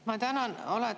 Ma tänan!